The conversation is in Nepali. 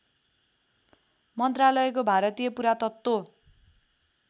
मन्त्रालयको भारतीय पुरातत्त्व